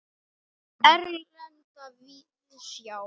Erlenda víðsjá.